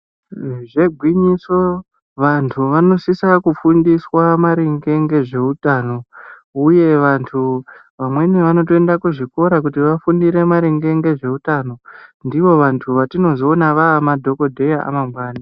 Zvirozvo igwinyiso vantu vanosise kufundiswa maringe ngezveutano uye vantu vamweni vanotoenda kuti vafundire maringe ngezveutano, ndivo vantu vatinozoona ave madhogodheya amangwana.